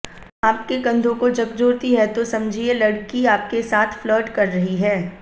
आपके कंधों को झकझोरती है तो समझिए लड़की आपके साथ फ्लर्ट कर रही है